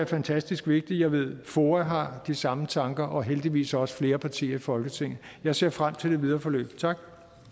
fantastisk vigtigt jeg ved at foa har de samme tanker og heldigvis også flere partier i folketinget jeg ser frem til det videre forløb tak